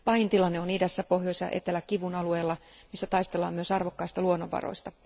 Pahin tilanne on idässä Pohjois ja Etelä Kivun alueella, missä taistellaan myös arvokkaista luonnonvaroista.